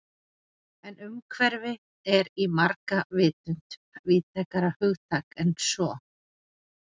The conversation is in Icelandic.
En umhverfi er í margra vitund víðtækara hugtak en svo.